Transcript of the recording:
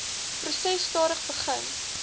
proses stadig begin